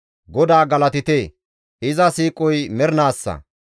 GODAA galatite! iza siiqoy mernaassa.